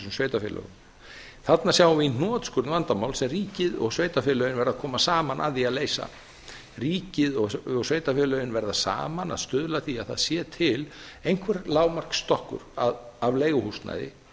sveitarfélögum þarna sjáum við í hnotskurn vandamál sem ríkið og sveitarfélögin verða að koma saman að því að leysa ríkið og sveitarfélögin verða saman að stuðla að því að það sé til einhver lágmarksstokkur af leiguhúsnæði